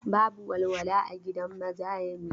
Babu walwala a gidan maza yanzun.